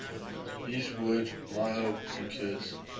his word my hope secures